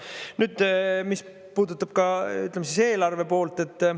Nüüd, mis puudutab ka, ütleme, eelarve poolt.